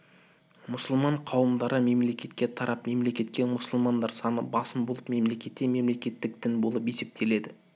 мұсылман қауымдары мемлекетке тарап мемлекетте мүсылмандар саны басым болып мемлекетте мемлекеттік дін болып есептеледі